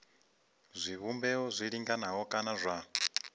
zwivhumbeo zwi linganaho kana zwa